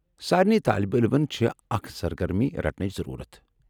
سارِنے طٲلب علمن چھےٚ اکھ سرگرمی رٹٕنٕچ ضرورت ۔